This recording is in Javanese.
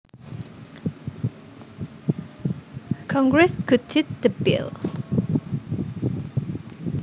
Congress gutted the bill